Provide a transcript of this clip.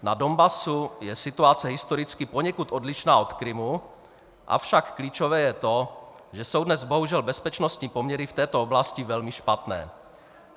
Na Donbasu je situace historicky poněkud odlišná od Krymu, avšak klíčové je to, že jsou dnes bohužel bezpečnostní poměry v této oblasti velmi špatné.